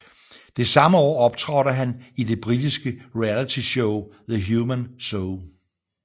Det samme år optrådte han i det britiske realityshowThe Human Zoo